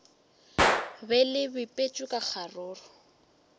be le bipetšwe ka kgaruru